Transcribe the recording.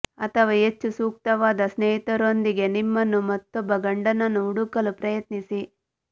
ಅಥವಾ ಹೆಚ್ಚು ಸೂಕ್ತವಾದ ಸ್ನೇಹಿತರೊಂದಿಗೆ ನಿಮ್ಮನ್ನು ಮತ್ತೊಬ್ಬ ಗಂಡನನ್ನು ಹುಡುಕಲು ಪ್ರಯತ್ನಿಸಿ